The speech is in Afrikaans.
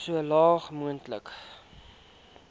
so laag moontlik